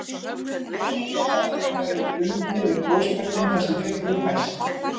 Vel má vera að þeir hafi verið bundnir við gosbeltin þar sem fjöll voru hæst.